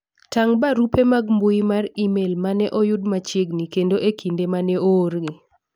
tang' barupe mag mbui mar email mane oyud machiegni kendo e kinde mane oorgi